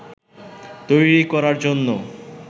তৈরি করার জন্য